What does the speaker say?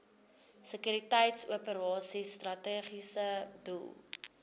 sekuriteitsoperasies strategiese doel